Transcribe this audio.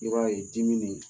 I b'a ye dimin